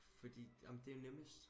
fordi amen det er jo nemmest